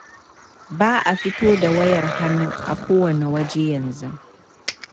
Ba a fito da wayar hannu a kowanne waje yanzu.